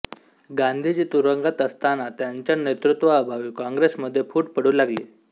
गांधीजी तुरुंगात असतांना त्यांच्या नेतृत्वाअभावी काँग्रेसमध्ये फूट पडू लागली